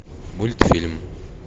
мультфильм